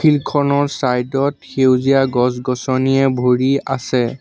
Field খনৰ side ত সেউজীয়া গছ গছনিয়ে ভৰি আছে।